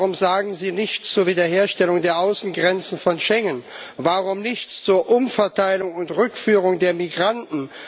Warum sagen Sie nichts zur Wiederherstellung der Außengrenzen von Schengen, warum nichts zur Umverteilung und Rückführung der Migranten?